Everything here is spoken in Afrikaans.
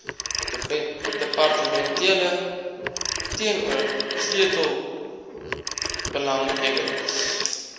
departemente teenoor sleutelbelanghebbers